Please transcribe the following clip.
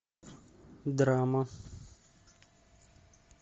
драма